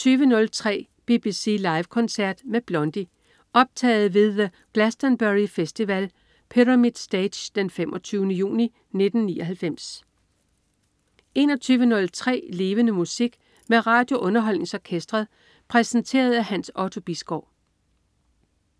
20.03 BBC Live koncert med Blondie. Optaget ved The Glastonbury Festival, Pyramid Stage den 25. juni 1999 21.03 Levende Musik. Med RadioUnderholdningsOrkestret. Præsenteret af Hans Otto Bisgaard